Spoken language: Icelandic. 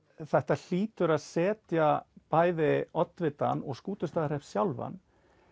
þetta hlýtur að setja bæði oddvitann og Skútustaðahrepp sjálfan